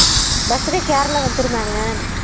birthday கு யாரெல்லாம் வந்திருந்தாங்க